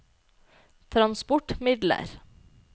transportmidler